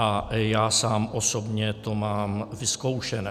A já sám osobně to mám vyzkoušené.